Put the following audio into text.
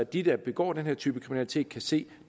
de der begår denne type kriminalitet kan se